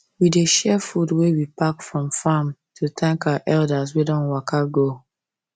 we dey share food wey we pack from farm to thank our elders wey don waka go